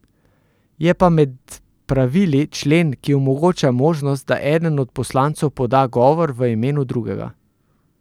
Je pa med pravili člen, ki omogoča možnost, da eden od poslancev poda govor v imenu drugega.